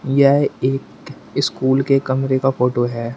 यह एक स्कूल के कमरे का फोटो है।